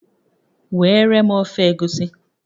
Weere m ofe Egusi